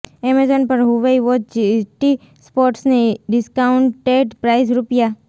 Amazon પર Huawei watch GT સ્પોર્ટની discounted price રૂ